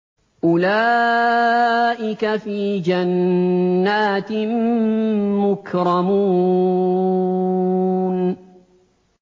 أُولَٰئِكَ فِي جَنَّاتٍ مُّكْرَمُونَ